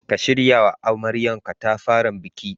Ka shiryawa amaryar katafaren bikin.